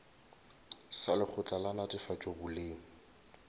sa lekgotla la netefatšo boleng